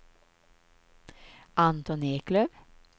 Anton Eklöf